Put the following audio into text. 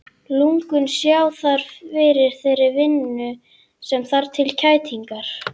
Lungun sjá þar fyrir þeirri vinnu sem þarf til kælingarinnar.